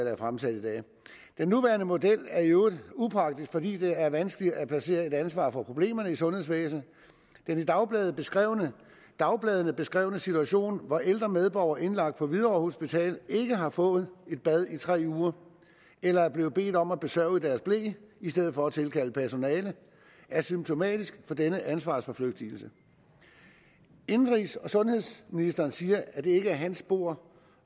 er fremsat i dag den nuværende model er i øvrigt upåagtet fordi det er vanskeligt at placere et ansvar for problemerne i sundhedsvæsenet den i dagbladene beskrevne dagbladene beskrevne situation hvor ældre medborgere indlagt på hvidovre hospital ikke har fået et bad i tre uger eller er blevet bedt om at besørge i deres ble i stedet for at tilkalde personale er symptomatisk for denne ansvarsforflygtigelse indenrigs og sundhedsministeren siger at det ikke er hans bord